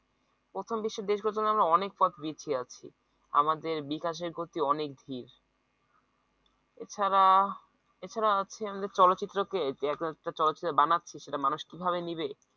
প্রথম বিশ্বের দেশগুলো থেকে আমরা অনেক পথ পিছিয়ে আছি আমাদের বিকাশের গতি অনেক ধীর এছাড়া এছাড়া আছে আমাদের চলচ্চিত্র যে চলচ্চিত্র বানাচ্ছে মানুষ কিভাবে নিবে